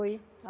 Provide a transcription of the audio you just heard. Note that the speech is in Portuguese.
Foi.